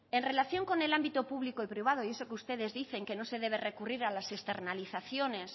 en relación con el ámbito público privado y eso que ustedes dicen que no se debe recurrir a las externalizaciones